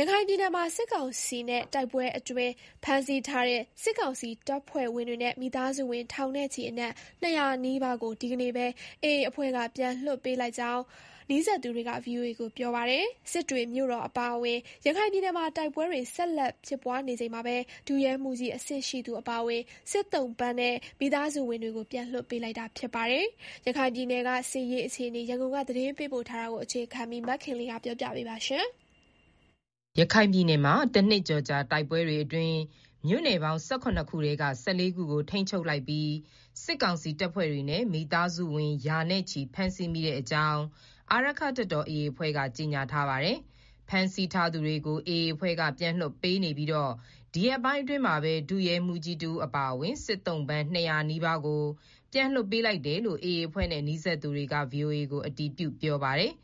ရခိုင်ပြည်နယ်မှာ စစ်ကောင်စီနဲ့တိုက်ပွဲအတွင်းဖမ်းဆီးထားတဲ့ စစ်ကောင်စီတပ်ဖွဲ့ဝင်တွေနဲ့ မိသားစုဝင် ထောင်နဲ့ချီအနက် နီးပါးကို ဒီကနေ့ပဲ AA အဖွဲ့က ပြန်လွှတ်ပေးလိုက်ကြောင်း နီးစပ်သူတွေက ဗွီအိုအေကို ပြောပါတယ်။ စစ်တွေမြို့တော်အပါအဝင် ရခိုင်ပြည်နယ်မှာ တိုက်ပွဲတွေဆက်လက် ဖြစ်ပွားနေချိန်မှာပဲ ဒုရဲမှူးကြီးအဆင့်ရှိသူအပါအဝင် စစ်သုံ့ပန်းနဲ့ မိသားစုဝင်တွေကို ပြန်လွှတ်ပေး လိုက်တာပါ။ ရခိုင်ပြည်နယ် စစ်ရေးအခြေအနေ ရန်ကုန်က သတင်းပေးပို့ထားပါတယ်။ ရခိုင်ပြည်နယ် တနှစ်ကျော်ကြာ တိုက်ပွဲတွေအတွင်း မြို့နယ်ပေါင်း ခုထဲက ခုကို ထိန်းချုပ် လိုက်ပြီး စစ်ကောင်စီတပ်ဖွဲ့တွေနဲ့ မိသားစုဝင်ရာနဲ့ချီဖမ်းဆီးမိခဲ့ကြောင်း အာရက္ခတပ်တော် AA အဖွဲ့က ကြေညာထားပါတယ်။ ဖမ်းဆီးထားသူတွေကို AA အဖွဲ့က ပြန်လွှတ်ပေးနေပြီး ဒီရက်ပိုင်းအတွင်းမှာပဲ ဒုရဲမှူးကြီးတဦးအပါအဝင် စစ်သုံ့ပန်း နီးပါးကို ပြန်လွှတ်ပေးလိုက်တယ်လို့ AA အဖွဲ့နဲ့ နီးစပ်သူ တွေက VOA ကို အတည်ပြု ပြောပါတယ်။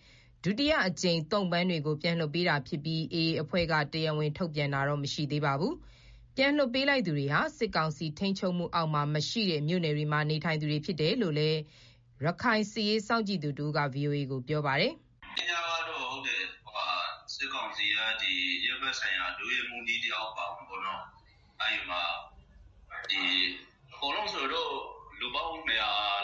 ဒုတိယအကြိမ် သုံ့ပန်းတွေကိုပြန်လွှတ်ပေးတာဖြစ်ပြီး AA အဖွဲ့က တရားဝင် ထုတ်ပြန်တာတော့ မရှိပါဘူး။ ပြန်လွှတ်ပေးလိုက်သူတွေဟာ စစ်ကောင်စီထိန်းချုပ်အောက်မှာမရှိတဲ့ မြို့နယ်တွေမှာနေထိုင်သူတွေ ဖြစ်တယ်လို့လည်း ရခိုင်စစ်ရေး စောင့်ကြည့်နေသူတဦးက VOA ကို ပြောပါတယ်။ “စစ်ဘက်ဆိုင်ရာ ဒုရဲမှူးကြီးတဦးအပါအဝင် အကုန်လုံးဆိုရင်တော့ လူပေါင်း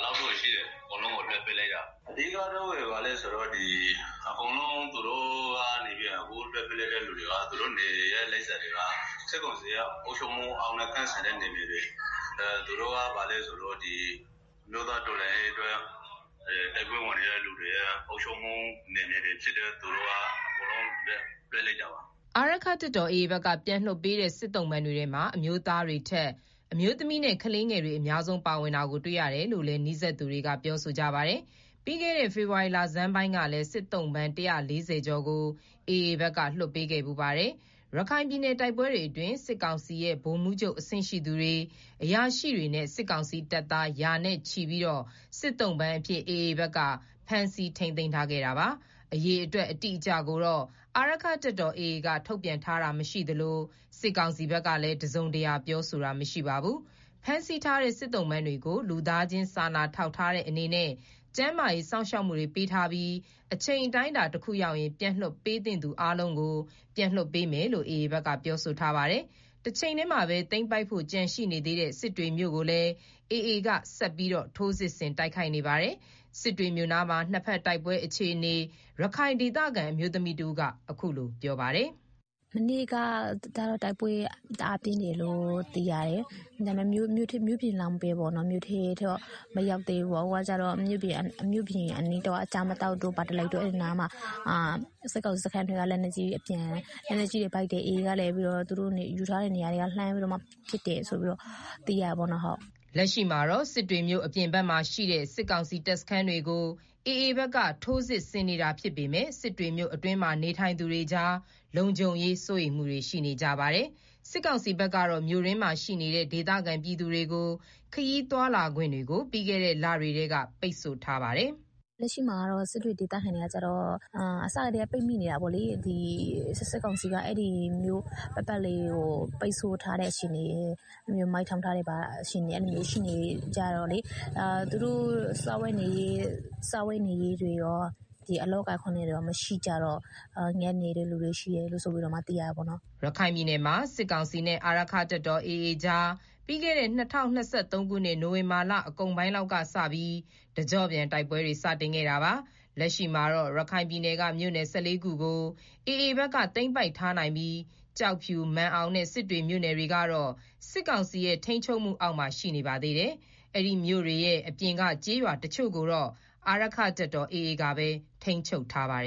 လောက်တော့ရှိ တယ်။ အကုန်လုံးကို လွှတ်ပေးလိုက်တာ။ အဓိကတော့ အခုလွှတ်ပေးလိုက်တဲ့လူတွေက စစ်ကောင်စီရဲ့ အုပ်ချုပ်မှုအောက်နဲ့ကင်းစင်တဲ့ နယ်မြေတွေကလူတွေ။ သူတို့ကဘာလဲဆိုတော့ အမျိုးသားတော်လှန်ရေးအတွက် တိုက်ပွဲဝင်နေတဲ့ အုပ်ချုပ်မှုအောက်မှာရှိတဲ့ နယ်မြေတွေက သူတွေကို လွှတ်လိုက်တာပါ။” အာရက္ခတပ်တော် AA ဘက်က ပြန်လွှတ်ပေးတဲ့ စစ်သုံ့ပန်းတွေထဲမှာ အမျိုးသားတွေထက် အမျိုးသမီးနဲ့ကလေးတွေ အများဆုံးပါဝင်တာတွေ့ရတယ်လို့လည်း နီးစပ်သူတွေက ပြောကြပါတယ်။ ပြီးခဲ့တဲ့ ဖေဖော်ဝါရီလဆန်းပိုင်းကလည်း စစ်သုံ့ပန်း ကျော်ကို AA ဘက်က လွှတ်ပေးခဲ့ ဖူးပါတယ်။ ရခိုင်ပြည်နယ်တိုက်ပွဲတွေအတွင်း စစ်ကောင်စီရဲ့ ဗိုလ်မှူးချုပ်အဆင့်ရှိသူတွေ၊ အရာရှိတွေနဲ့ စစ်ကောင်စီတပ်သား ရာနဲ့ချီပြီး စစ်သုံ့ပန်းအဖြစ် AA ဘက်က ဖမ်းဆီးထိန်းသိမ်းထားခဲ့တာပါ။ အရေအတွက်အတိအကျကိုတော့ AA အာရက္ခတပ်တော်က ထုတ်ပြန်ထားတာမရှိသလို စစ်ကောင်စီ ဘက်ကလည်း တစုံတရာ ပြောဆိုတာ မရှိပါဘူး။ ဖမ်းဆီးထားတဲ့ စစ်သုံ့ပန်းတွေကို လူသားချင်းစာနာ ထောက်ထားတဲ့အနေနဲ့ ကျန်းမာရေး စောင့်ရှောက်မှုတွေပေးထားပြီး အချိန် အတိုင်းအတာတခုရောက်ရင် ပြန်လွှတ်ပေးသင့်သူအားလုံးကိုပြန်လွှတ်ပေးမယ်လို့ AA ဘက်က ပြောဆိုထားပါတယ်။ တချိန်တည်းမှာ သိမ်းပိုက်ဖို့ကျန်ရှိနေသေးတဲ့ စစ်တွေ မြို့ကိုလည်း AA က ဆက်လက်ထိုးစစ်ဆင် တိုက်ခိုက် နေပါတယ်၊ စစ်တွေမြို့နားမှာ နှစ်ဘက်တိုက်ပွဲ အခြေအနေ ရခိုင်ဒေသခံအမျိုးသမီးတဦးက ပြောပါတယ်။ “မနေ့ကတော့ တိုက်ပွဲ တအားပြင်းတယ်လို့ သိရတယ်။ ဒါပေမဲ့ မြို့ပြင်လောက်ပဲ။ မြို့ထဲကိုတော့ မရောက်သေးဘူးပေါ့။ အခုက မြို့ပြင်အနီးတဝိုက် ကျားမသောက်တို့၊ ပါဒလိပ်တို့ ရေချမ်းပြင်တို့ မှာပေါ့၊ စစ်ကောင်စီခစန်းတွေက လက်နက်ကြီးတွေ ပစ်တယ်။ AA ဘက်ကလည်းသူတို့ တပ်စွဲထားတဲ့ နေရာတွေက လက်နက်ကြီးတွေနဲ့ ပစ်တယ်ဆိုပြီးတော့ သိရတယ်ပေါ့နော်။” လက်ရှိမှာတော့ စစ်တွေမြို့အပြင်ဘက်မှာရှိတဲ့ စစ်ကောင်စီတပ်စခန်းတွေကို AA ဘက်က ထိုးစစ်ဆင် နေတာြဖစ်ပေမယ့် စစ်တွေမြို့အတွင်းမှာနေထိုင်သူတွေကြား လုံခြုံရေးစိုးရိမ်မှုတွေရှိနေကြတာပါ။ စစ်ကောင်စီဘက်ကတော့ မြို့တွင်းမှာရှိနေတဲ့ ဒေသခံပြည်သူတွေကို ခရီးသွားလာခွင့်တွေကို ပြီးခဲ့တဲ့ လတွေကတည်းက ပိတ်ဆို့ထားပါတယ်။ “စစ်တွေဒေသခံတွေကတော့ အစကတည်းက ပိတ်မိနေတာပေါ့နော်။ စစ်ကောင်စီက မြို့ပတ်ပတ်လည်ကို ပိတ်ဆို့ထားတဲ့အခြေအနေ မိုင်းထောင်ထားတာတွေ ရှိနေတော့လေ၊ သူတို့မှာ စားဝတ်နေရေး ခက်ခဲနေသလို အလုပ်အကိုင်အခွင့်အလမ်းတွေလည်းမရှိကြတော့ ငတ်နေသူတွေရှိတယ်ဆိုပြီးတော့ သိရတာပေါ့နော်။” ရခိုင်ပြည်နယ်မှာ စစ်ကောင်စီနဲ့ အာရက္ခတပ်တော် AA ကြား ပြီးခဲ့တဲ့ ၂၀၂၃ ခုနှစ် နိုင်ဝင်ဘာလကုန်ပိုင်း လောက်ကစပြီး တကျော့ပြန်တိုက်ပွဲတွေ စတင်ခဲ့တာပါ။ လက်ရှိမှာတော့ ရခိုင်ပြည်နယ်က မြို့နယ် ၁၄ ခုကို AA ဘက်က သိမ်းပိုက်ထားနိုင်ပြီး ကျောက်ဖြူ၊ မာန်အောင်နဲ့ စစ်တွေမြို့နယ်တွေကတော့ စစ်ကောင်စီရဲ့ ထိန်းချုပ်မှုအောက်မှာရှိနေပါသေးတယ်။ အဲဒီမြို့နယ်တွေရဲ့ မြို့ပြင်ကျေးရွာတချို့ကို တော့ အာရက္ခတပ်တော် AA ကပဲ ထိန်းချုပ်ထားပါ